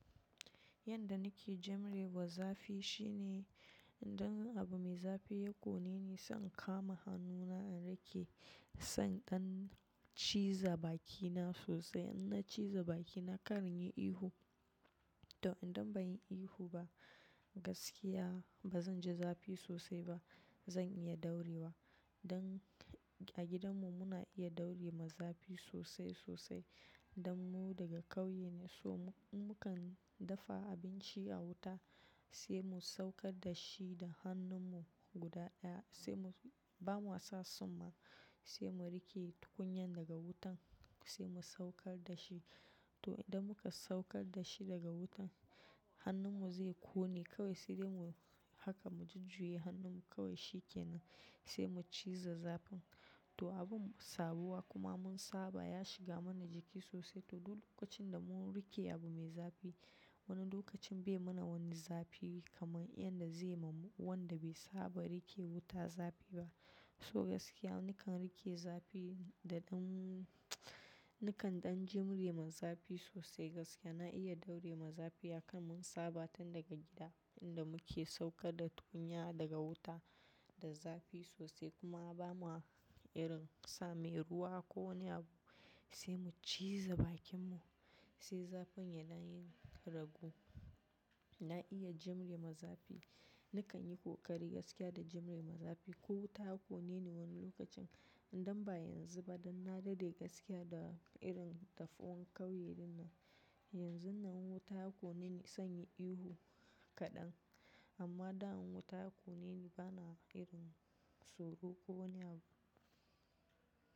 Yadda nake jimre ma zafi shine, idan abu mai zafi ya ƙone ni sai in kama hannuna in riƙe, sannan ciza bakina sosai. In na ciza bakina kar inyi ihu. To idan ban yi ihu ba gaskiya ba zan ji zafi sosai ba, zan iya daurewa. Don a gidanmu muna iya dauri ma zafi sosai sosai. Dan mu daga ƙauye ne so mu kan dafa abinci a wuta sai mu saukar da shi da hannunmu guda ɗaya sai mu, ba mu wasa tsumma sai mu riƙe tukunyan daga wutan sai mu saukar da shi. To idan muka saukar da shi daga wutan hannunmu zai ƙone kawai sai dai mu haka mu jujjuyi hannunmu kawai shi ke nan sai mu ciza zafin. To abun sabuwa kuma mun saba ya shiga mana jiki sosai. To duk lokacin da mun riƙe abu mai zafi wani lokacin bai mana wani zafi kamar yadda zai ma wanda bai saba riƙe wuta zafi ba. So gaskiya nakan riƙe zafi da ɗan nakan ɗan jimre ma zafi sosai gaskiya. Na iya daure ma zafi hakan mun saba tan daga gida inda muke saukar da tukunya daga wuta da zafi sosai kuma ba ma irin sa mai ruwa ko wani abu sai mu ciza bakinmu. Sai zafin yana yin rago. Na iya jimre ma zafi. Nakan yi ƙoƙari gaskiya da jimre ma zafi ko wuta ya ƙone ni wani lokacin idan ba yanzu ba dan na daɗe gaskiya da irin dafuwan ƙauye ɗinnan. Yanzun nan wuta ya ƙone ni sai yi ihu kaɗan. Amma dan wuta ya ƙone ni bana irin tsoro ko wani abu.